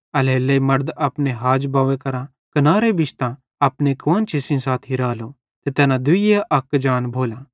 एल्हेरेलेइ मड़द अपने हाज बव्वे करां कनारे बिश्तां अपनी कुआन्शी सेइं साथी रालो ते तैना दुइये अक जान भोलां